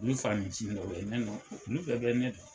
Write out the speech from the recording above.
Ne faniciini ye obye, olu bɛ bɛ ne dɔn.